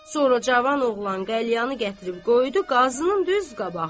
Sonra cavan oğlan qəlyanı gətirib qoydu Qazının düz qabağına.